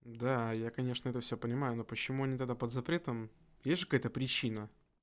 да я конечно это всё понимаю но почему они тогда под запретом есть же какая-то причина